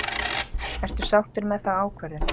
Ertu sáttur með þá ákvörðun?